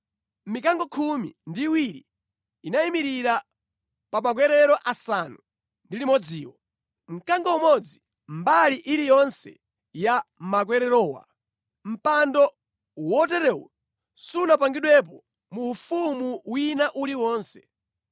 Mikango khumi ndi iwiri inayimirira pa makwerero asanu ndi limodziwo; mkango umodzi mbali iliyonse ya makwererowa. Mpando woterewu sunapangidwepo mu ufumu wina uliwonse.